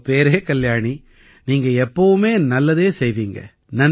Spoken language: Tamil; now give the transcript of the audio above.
உங்க பேரே கல்யாணி நீங்க எப்பவுமே நல்லதே செய்வீங்க